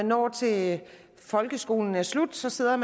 når til at folkeskolen er slut så sidder